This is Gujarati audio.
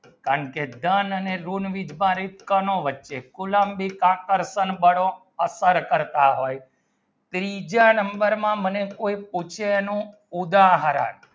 અને ઋણ વીજભારિતઅસર કરતા હોય ત્રીજા number માં મને કોઈ પૂછે એનો ઉદાહરણ